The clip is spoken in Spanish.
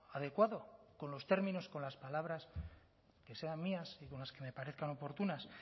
adecuado con los términos con las palabras que sean mías y con las que me parezcan oportunas